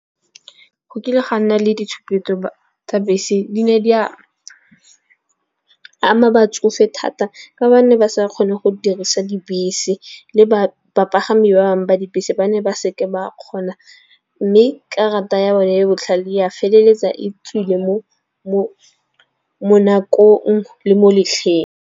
Go kile ga nna le ditshupetso tsa bese, di ne di a ama batsofe thata ka ba ne ba sa kgone go dirisa dibese. Le ba bapagami ba bangwe ba dibese ba ne ba seke ba kgona. Mme karata ya bone e e botlhale ya feleletsa e tswile mo nakong le mo letlheng.